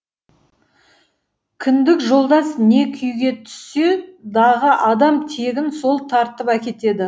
кіндік жолдас не күйге түссе дағы адам тегін сол тартып әкетеді